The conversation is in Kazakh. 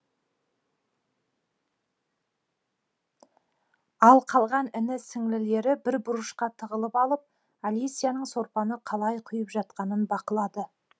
ал қалған іні сіңлілері бір бұрышқа тығылып алып алисияның сорпаны қалай құйып жатқанын бақылады